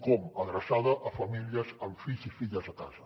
com adreçada a famílies amb fills i filles a casa